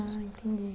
Ah, entendi.